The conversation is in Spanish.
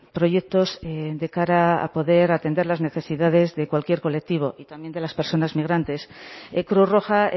proyectos de cara a poder atender las necesidades de cualquier colectivo y también de las personas migrantes cruz roja